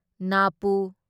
ꯅꯥꯄꯨ